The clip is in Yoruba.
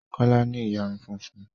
Kọ́lá ní ìyarun funfun